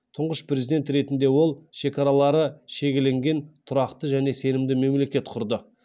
тұңғыш президент ретінде ол шекаралары шегеленген тұрақты және сенімді мемлекет құрды